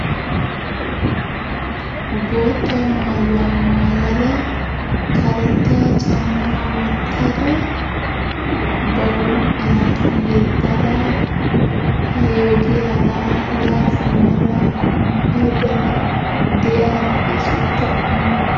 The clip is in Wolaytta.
Bootta maayuwa maayada, karetta caammaa wottada, ba huuphiya yeddada ha ogiyara baydda de'iya na'ee sunttay oonee?